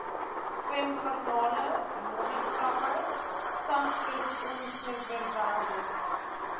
swemgarnale modderkrappe sandkusongewerweldes